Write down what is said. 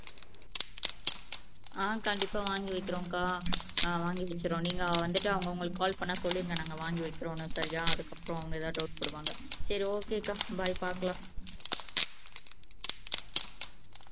ஆஹ் கண்டிப்பா வாங்கி வைக்கிறோம்கா ஆஹ் வாங்கி வைக்குறோம் நீங்க வந்திட்டு அவுங்க உங்களுக்கு கால் பண்ணா சொல்லிடுங்க நாங்க வாங்கி வைக்குறோம்னு சரியா அதுக்கப்புறம் அவுங்க ஏதாவது டவுட் பாடுவாங்க. சரி ஓகே கா பை பாக்கலாம்